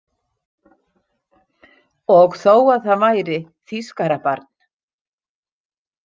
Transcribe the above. Og þó að það væri þýskarabarn.